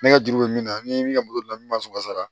Ne ka juru bɛ min na ni ka mobili ɲuman sɔrɔ